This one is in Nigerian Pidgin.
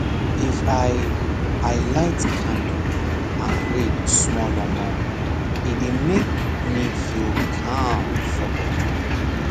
if i i light candle and read smallomor e dey make me feel calm for body